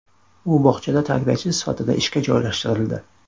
U bog‘chada tarbiyachi sifatida ishga joylashtirildi.